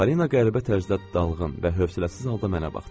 Polina qəribə tərzdə dalğın və hövsələsiz halda mənə baxdı.